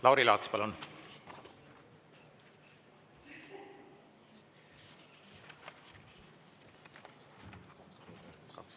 Lauri Laats, palun!